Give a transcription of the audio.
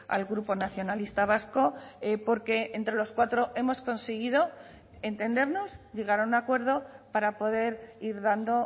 al grupo nacionalista vasco porque entre los cuatro hemos conseguido entendernos llegar a un acuerdo para poder ir dando